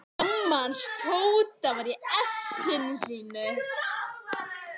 Amma hans Tóta var í essinu sínu.